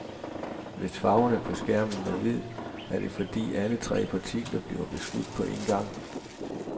Hvis farven på skærmen er hvid, er det fordi alle tre partikler bliver beskudt på en gang.